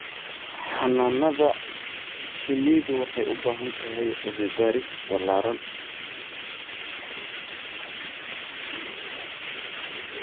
Xannaanada shinnidu waxay u baahan tahay cilmi baaris ballaaran.